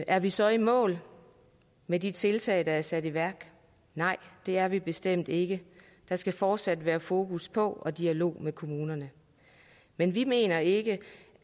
er vi så i mål med de tiltag der er sat i værk nej det er vi bestemt ikke der skal fortsat være fokus på og dialog med kommunerne men vi mener ikke